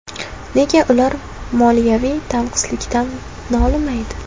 Nega ular moliyaviy tanqislikdan nolimaydi?